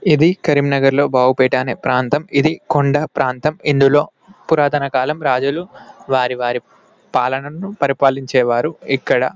ఇది కరీంనగర్ లో బాబు పేట అనే ప్రాంతం ఇది కొండ ప్రాంతం ఇందులో పురాతన కాలం రాజులు వారి వారి పాలనను పరిపాలించేవారు ఇక్కడ